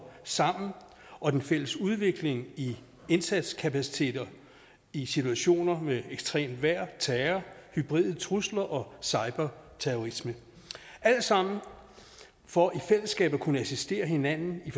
sammen og den fælles udvikling i indsatskapaciteter i situationer med ekstremt vejr terror hybride trusler og cyberterrorisme det er alt sammen for i fællesskab at kunne assistere hinanden i